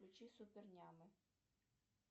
включи супер нямы